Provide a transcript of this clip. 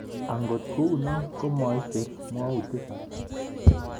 Angot kou no, ko maicher mwautik alak